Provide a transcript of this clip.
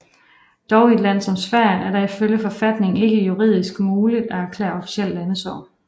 Dog i et land som Sverige er det ifølge forfatningen ikke juridisk muligt at erklære officielt landesorg